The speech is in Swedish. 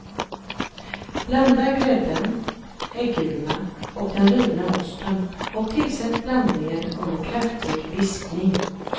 Blanda grädden, äggulorna och den rivna osten och tillsätt blandningen under kraftig vispning.